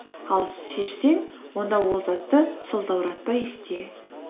ал шешсең онда ол затты сылтауратпай істе